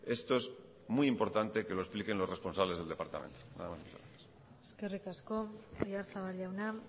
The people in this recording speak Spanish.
esto es muy importante que lo expliquen los responsables del departamento nada más y muchas gracias eskerrik asko oyarzabal jauna